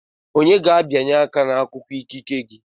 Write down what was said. Onye ga-abịanye aka n'akwụkwọ ikike gị?